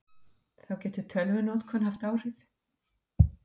Þá getur tölvunotkun haft áhrif.